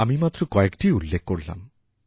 আমি মাত্র কয়েকটিই উল্লেখ করলাম